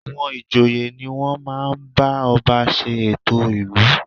À̀wọn ìjòyè ni wọ́n máa ń bá ọba ṣe ètò ìlú